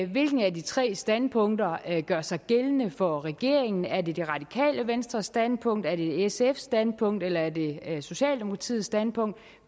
hvilket af de tre standpunkter der gør sig gældende for regeringen er det det radikale venstres standpunkt er det sfs standpunkt eller er det socialdemokratiets standpunkt